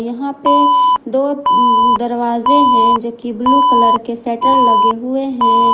यहां पे दो दरवाजे हैं जो की ब्लू कलर के शटर लगे हुए हैं।